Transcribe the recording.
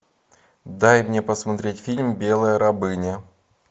дай мне посмотреть фильм белая рабыня